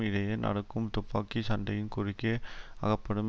இடையே நடக்கும் துப்பாக்கி சண்டையின் குறுக்கே அகப்படும்